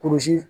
Kurusi